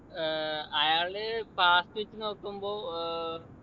ഏർ അയാള് party വച്ച് നോക്കുമ്പോ ഏർ